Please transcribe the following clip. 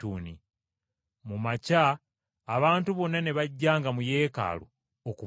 Mu makya abantu bonna ne bajjanga mu Yeekaalu okumuwuliriza.